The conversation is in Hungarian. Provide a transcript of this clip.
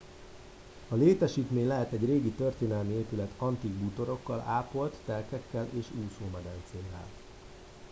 a létesítmény lehet egy régi történelmi épület antik bútorokkal ápolt telkekkel és úszómedencével